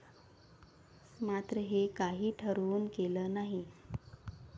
मात्र हे काही ठरवून केलं नाही.